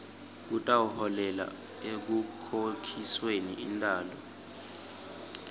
kutawuholela ekukhokhisweni intalo